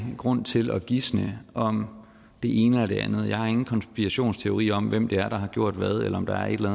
grund til at gisne om det ene eller det andet jeg har ingen konspirationsteori om hvem det er der har gjort hvad eller om der er et eller